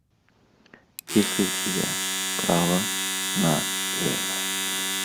есть ли у тебя право на лево